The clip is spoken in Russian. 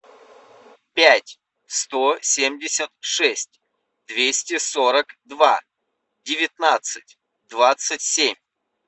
пять сто семьдесят шесть двести сорок два девятнадцать двадцать семь